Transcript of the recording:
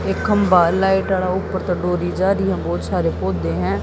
एक खंभा है लाइट आड़ा ऊपर ते डोरी जारी है। बोहोत सारे पौधे हैं।